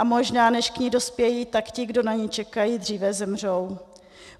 A možná, než k ní dospějí, tak ti, kdo na ni čekají, dříve zemřou.